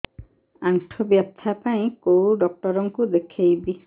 ଆଣ୍ଠୁ ବ୍ୟଥା ପାଇଁ କୋଉ ଡକ୍ଟର ଙ୍କୁ ଦେଖେଇବି